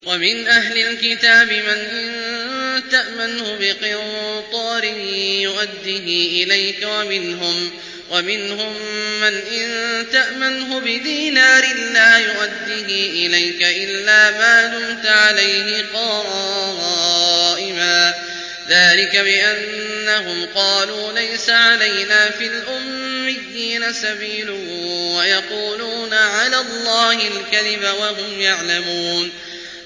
۞ وَمِنْ أَهْلِ الْكِتَابِ مَنْ إِن تَأْمَنْهُ بِقِنطَارٍ يُؤَدِّهِ إِلَيْكَ وَمِنْهُم مَّنْ إِن تَأْمَنْهُ بِدِينَارٍ لَّا يُؤَدِّهِ إِلَيْكَ إِلَّا مَا دُمْتَ عَلَيْهِ قَائِمًا ۗ ذَٰلِكَ بِأَنَّهُمْ قَالُوا لَيْسَ عَلَيْنَا فِي الْأُمِّيِّينَ سَبِيلٌ وَيَقُولُونَ عَلَى اللَّهِ الْكَذِبَ وَهُمْ يَعْلَمُونَ